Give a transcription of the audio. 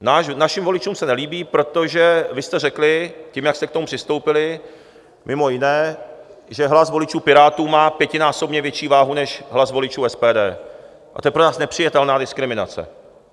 Našim voličům se nelíbí, protože vy jste řekli tím, jak jste k tomu přistoupili mimo jiné, že hlas voličů Pirátů má pětinásobně větší váhu než hlas voličů SPD, a to je pro nás nepřijatelná diskriminace.